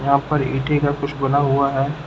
यहां पर ईटे का कुछ बना हुआ है।